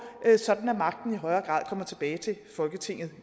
sådan at magten i højere grad kommer tilbage til folketinget